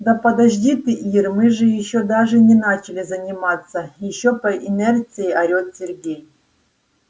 да подожди ты ир мы же ещё даже не начали заниматься ещё по инерции орёт сергей